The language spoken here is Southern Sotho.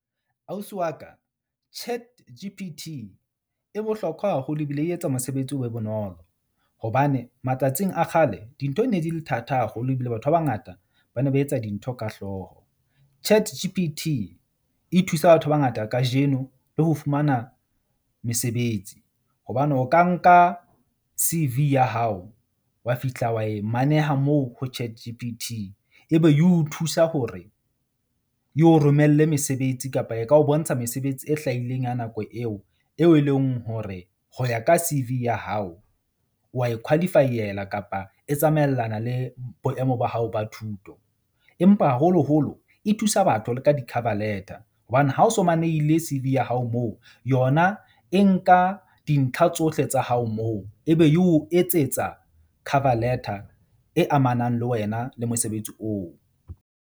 Ausi wa ka ChatG_P_T e bohlokwa haholo ebile e etsa mosebetsi o be bonolo hobane matsatsing a kgale dintho di ne di le thata haholo ebile batho ba bangata ba ne ba etsa dintho ka hlooho. ChatG_P_T e thusa batho ba bangata kajeno le ho fumana mesebetsi hobane o ka nka C_V ya hao, wa fihla wa e maneha moo ho ChatG_P_T ebe ye o thusa hore, ye o romelle mesebetsi kapa e ka ho bontsha mesebetsi e hlahileng ya nako eo, eo e leng hore ho ya ka C_V ya hao wa e qualify-ela. Kapa e tsamaellana le boemo ba hao ba thuto. Empa haholoholo e thusa batho le ka di-cover letter hobane ha o so manehile C_V ya hao moo yona e nka dintlha tsohle tsa hao moo ebe e o etsetsa cover letter e amanang le wena le mosebetsi oo.